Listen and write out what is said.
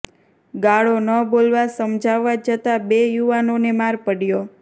ગાળો ન બોલવા સમજાવવા જતાં બે યુવાનોને માર પડ્યો